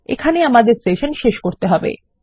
এবং এখানেই আমাদের সেশন শেষ করতে হবে